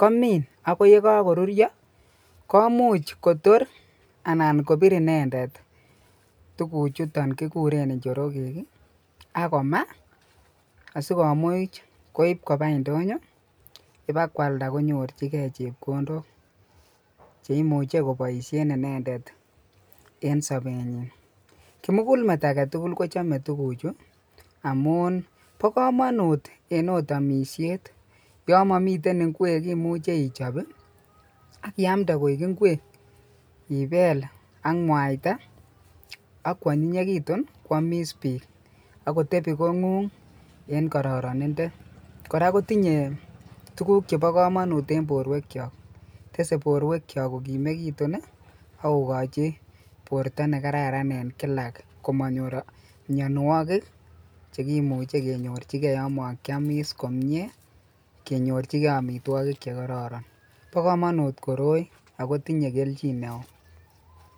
komin akoi yekokoruryo komuch Kotor anan kobir inendet tukuchuton kikuren njorokek ak komaa asikomuch koib kobaa indonyo ibakwalda konyorchike chepkondok cheimuche koboishen inendet en sobenyin, kimukulmet aketukul kochome tukuchu amun bokomonut en oot omishet, yoon momiten ing'wek imuche ichob ak iamnde koik ing'wek ibeel ak mwaita ak kwonyinyekitun kwomis biik ak kotebi kong'ung en kororonindo, kora kotinye tukuk chebokomonut en borwekyok, tesee borwekyok kokimekitun ak kokochi borto nekararan en kilak komonyor mionwokik chekimuche kenyorchike yoon mokiomis komie kenyorchike amitwokik chekororon, bokomonut koroi akotinye kelchin neoo.